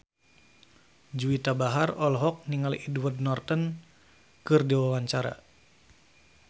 Juwita Bahar olohok ningali Edward Norton keur diwawancara